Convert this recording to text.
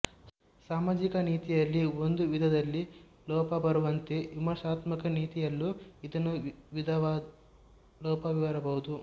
ಸಾಮಾಜಿಕ ನೀತಿಯಲ್ಲಿ ಒಂದು ವಿಧದಲ್ಲಿ ಲೋಪ ಬರುವಂತೆ ವಿಮರ್ಶಾತ್ಮಕ ನೀತಿಯಲ್ಲೂ ಇನ್ನೊಂದು ವಿಧವಾದ ಲೋಪವಿರಬಹುದು